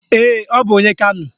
Ee, ọ bụ onye Kano